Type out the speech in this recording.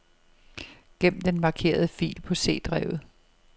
Gem den markerede fil på C-drevet.